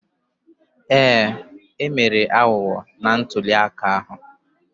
Ee, e mere aghụghọ na ntulịaka ahụ